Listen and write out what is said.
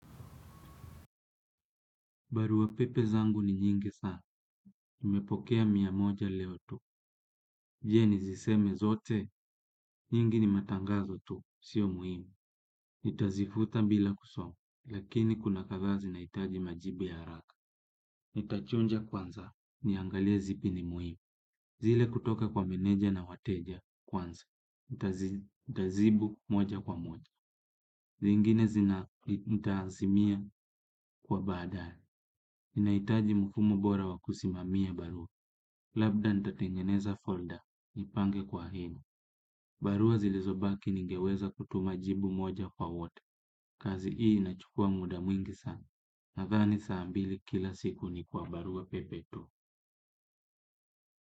Barua pepe zangu ni nyingi sana, nimepokea mia moja leo tu. Je niziseme zote, nyingi ni matangazo tu, sio muhimu. Nitazifuta bila kusoma, lakini kuna kadhaa zinahitaji majibu ya haraka. Nitachuja kwanza, niangalie zipi ni muhimu. Zile kutoka kwa meneja na wateja kwanza, nitajibu moja kwa moja. Zingine nitaazimia kwa baadaye ninahitaji mfumo bora wa kusimamia barua. Labda nitatengeneza folda, nipange kwa hini. Barua zilizobaki ningeweza kutuma jibu moja kwa wote. Kazi hii inachukua muda mwingi sana. Nadhani saa mbili kila siku ni kwa barua pepe tu.